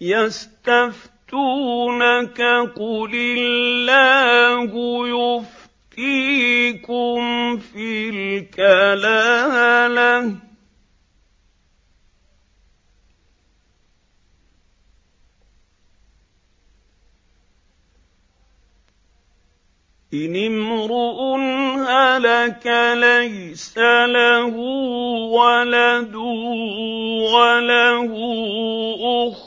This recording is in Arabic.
يَسْتَفْتُونَكَ قُلِ اللَّهُ يُفْتِيكُمْ فِي الْكَلَالَةِ ۚ إِنِ امْرُؤٌ هَلَكَ لَيْسَ لَهُ وَلَدٌ وَلَهُ أُخْتٌ